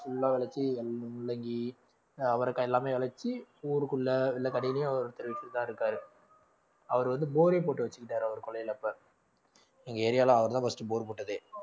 full ஆ விளைச்சு முள்ளங்கி ஆஹ் அவரைக்காய் எல்லாமே விளைச்சு ஊருக்குள்ள எல்லா கடையிலயும் ஒருத்தர் வச்சிதான் இருக்காரு அவர் வந்து bore ஏ போட்டு வச்சுக்கிட்டாரு அவர் கொல்லையில இப்ப எங்க area ல அவர்தான் first bore போட்டதே